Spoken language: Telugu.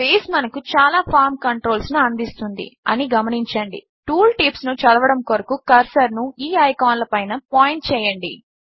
బేస్ మనకు చాలా ఫార్మ్ కంట్రోల్స్ ను అందిస్తుంది అని గమనించండి160 టూల్ టిప్స్ ను చదవడము కొరకు కర్సర్ ను ఈ ఐకాన్ ల పైన పాయింట్ చేయండి